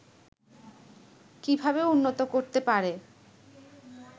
কিভাবে উন্নত করতে পারে